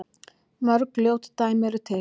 Mörg ljót dæmi eru til.